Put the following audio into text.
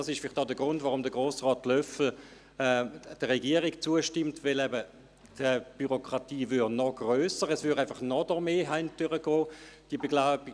Dies ist vielleicht der Grund, warum Grossrat Löffel der Regierung zustimmt, denn die Bürokratie würde grösser, das Ganze würde durch noch mehr Hände gehen.